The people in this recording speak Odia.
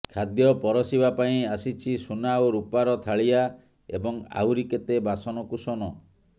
ଖାଦ୍ୟ ପରଷିବା ପାଇଁ ଆସିଛି ସୁନା ଓ ରୁପାର ଥାଳିଆ ଏବଂ ଆହୁରି କେତେ ବାସନକୁସନ